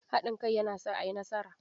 Haɗin kai yana sa a yi nasara.